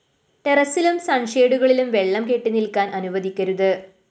ടെറസ്സിലും സണ്‍ഷെയ്ഡിലും വെളളം കെട്ടിനില്‍ക്കാന്‍ അനുവദിക്കരുത്